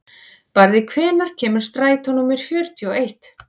Barði, hvenær kemur strætó númer fjörutíu og eitt?